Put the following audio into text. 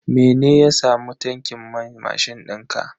Mene ya samu tankin man mashin dinka?